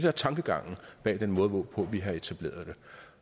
er tankegangen bag den måde hvorpå vi har etableret det